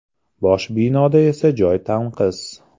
Bosh binoda esa joy tanqis.